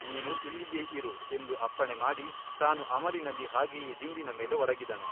ನೀನು ಇಲ್ಲಿಯೇ ಇರು ಎಂದು ಅಪ್ಪಣೆ ಮಾಡಿ ತಾನು ಅಮಲಿನಲ್ಲಿ ಹಾಗೆಯೇ ದಿಂಬಿನ ಮೇಲೆ ಒರಗಿದನು.